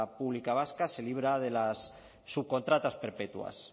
pública vasca se libra de las subcontratas perpetuas